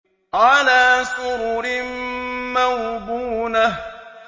عَلَىٰ سُرُرٍ مَّوْضُونَةٍ